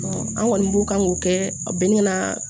an kɔni b'u kan ko kɛ bɛn ka na